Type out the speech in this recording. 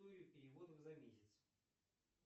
переводов за месяц